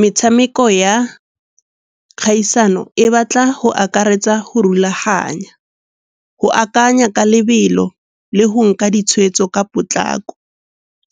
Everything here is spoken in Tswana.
Metshameko ya kgaisano e batla go akaretsa go rulaganya, go akanya ka lebelo le go nka ditshwetso ka potlako.